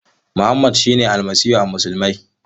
Mohammed shine Almasihu ga musulmai.